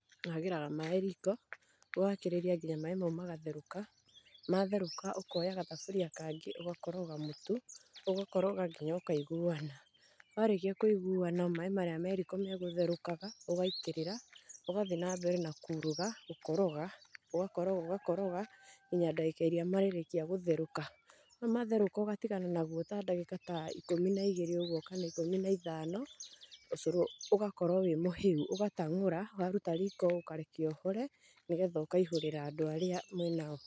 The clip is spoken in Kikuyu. Ũhagĩraga maĩ riiko, ugakĩrĩria nginya maĩ mau magatherũka, matherũka ukoya gathaburia kangĩ, ũgakoroga motu, ũgakoroga nginya ukaiuguana. Warekia kũiguana maĩ marĩa me riko magotherũkaga ũgaitĩrĩra, Ũgathiĩ na mbere na gũkoroga. Ũgakoroga, ũgakoroga nginya dagĩka irĩa marĩrekia gũtherũka. Na matheroka ũgatigana naguo ta dagĩka ta ikũmi na igĩrĩ oguo kana ikũmi na ithano, ũcoro ũgakorwo wĩ mũheu, ũgatangora, ugaruta riko ũkarekia ũhore nĩgitha ũkaihũrĩra andũ arĩa mwĩnao.